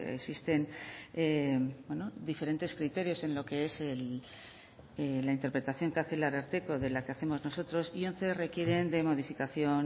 existen diferentes criterios en lo que es la interpretación que hace el ararteko de la que hacemos nosotros y once requieren de modificación